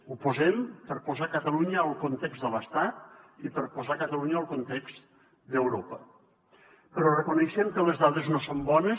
ho posem per posar catalunya al context de l’estat i per posar catalunya al context d’europa però reconeixem que les dades no són bones